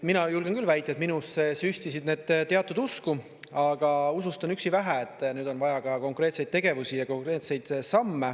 Mina julgen küll väita, et minusse süstisid need teatud usku, aga usust on üksi vähe, nüüd on vaja ka konkreetseid tegevusi ja konkreetseid samme.